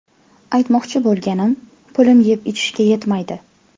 Aytmoqchi bo‘lganim, pulim yeb-ichishga ketmaydi.